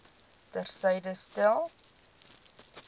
ter syde stel